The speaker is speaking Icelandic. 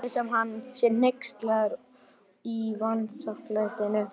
Lætur sem hann sé hneykslaður á vanþakklætinu.